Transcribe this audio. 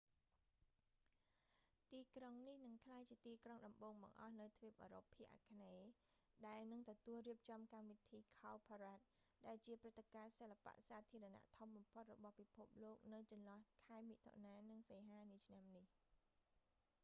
ទីក្រុងនេះនឹងក្លាយជាទីក្រុងដំបូងបង្អស់នៅទ្វីបអឺរ៉ុបភាគអាគ្នេយ៍ ដែលនឹងទទួលរៀបចំកម្មវិធី cowparade ដែលជាព្រឹត្តិការណ៍សិល្បៈសាធារណៈធំបំផុតរបស់ពិភពលោក នៅចន្លោះ ខែមិថុនា និងសីហា នាឆ្នាំនេះ